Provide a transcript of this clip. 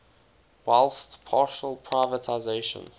whilst partial privatisation